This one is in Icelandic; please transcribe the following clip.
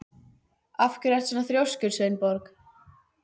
Af hverju ertu svona þrjóskur, Sveinborg?